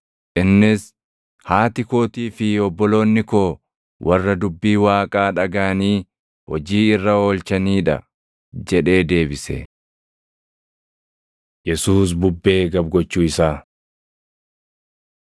Innis, “Haati kootii fi obboloonni koo warra dubbii Waaqaa dhagaʼanii hojii irra oolchanii dha” jedhee deebise. Yesuus Bubbee Gab gochuu Isaa 8:22‑25 kwf – Mat 8:23‑27; Mar 4:36‑41 8:22‑25 kwi – Mar 6:47‑52; Yoh 6:16‑21